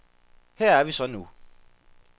Her er vi så nu.